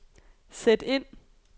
sæt ind